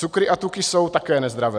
Cukry a tuky jsou také nezdravé.